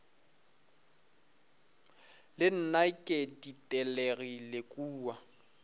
le nna ke ditelegile kua